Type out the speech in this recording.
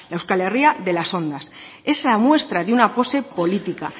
euskal herria de las ondas esa muestra de una pose política